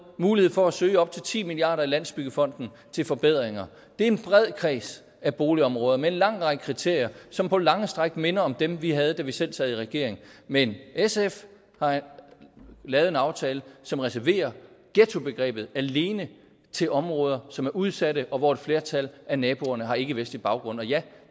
mulighed for at søge op til ti milliard kroner i landsbyggefonden til forbedringer er en bred kreds af boligområder med en lang række kriterier som på lange stræk minder om dem vi havde da vi selv sad i regering men sf har lavet en aftale som reserverer ghettobegrebet alene til områder som er udsatte og hvor et flertal af naboerne har ikkevestlig baggrund og ja